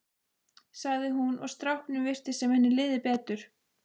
sagði hún og strákunum virtist sem henni liði betur.